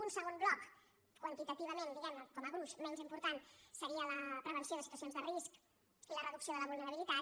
un segon bloc quantitativament diguemne com a gruix menys important seria la prevenció de situacions de risc i la reducció de la vulnerabilitat